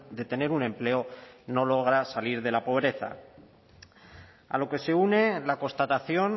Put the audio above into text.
de tener un empleo no logran salir de la pobreza a lo que se une la constatación